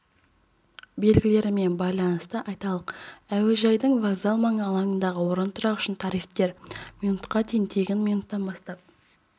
белгілерімен байланысты айталық әуежайдың вокзал маңы алаңындағы орынтұрақ үшін тарифтер минутқа дейін тегін минуттан бастап